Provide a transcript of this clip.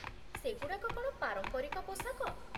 ସେଗୁଡ଼ାକ କ'ଣ ପାରମ୍ପରିକ ପୋଷାକ ?